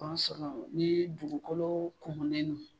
ni dugukolo kumunen don.